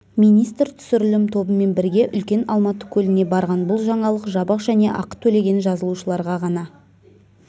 министр түсірілім тобымен бірге үлкен алматы көліне барған бұл жаңалық жабық және ақы төлеген жазылушыларға ғана